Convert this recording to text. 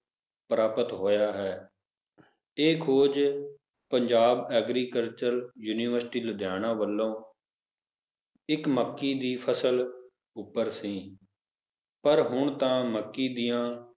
ਪ੍ਰਾਪਤ ਹੋਇਆ ਹੈ l ਇਹ ਖੋਜ ਪੰਜਾਬ agricultural university ਲੁਧਿਆਣਾ ਵੱਲੋਂ ਇੱਕ ਮੱਕੀ ਦੀ ਫਸਲ ਉੱਪਰ ਸੀ ਪਰ ਹੁਣ ਤਾ ਮੱਕੀ ਦੀਆਂ